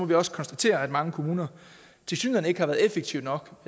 vi også konstatere at mange kommuner tilsyneladende ikke har været effektive nok